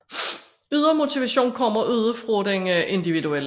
Ydre motivation kommer ude fra den individuelle